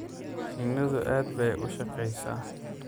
Shinnidu aad bay u shaqeysaa.